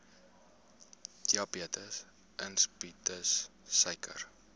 diabetes insipidus suiker